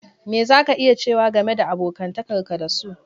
Me za ka iya cewa game da abokantakar ka da su?